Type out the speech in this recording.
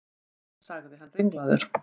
sagði hann ringlaður.